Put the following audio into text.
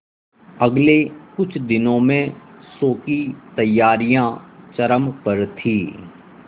अगले कुछ दिनों में शो की तैयारियां चरम पर थी